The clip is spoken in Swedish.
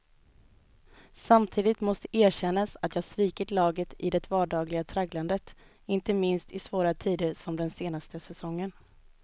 Samtidigt måste erkännas att jag svikit laget i det vardagliga tragglandet, inte minst i svåra tider som den senaste säsongen.